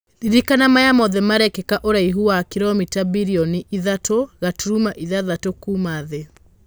Ririkana maya mothe marekĩka ũraihu wa kiromĩta birionĩ ithathatũgaturuma ithathatũkuuma thĩ.